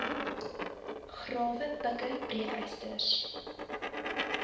grawe pikke breekysters